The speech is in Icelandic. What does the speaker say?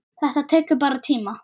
Þetta tekur bara tíma.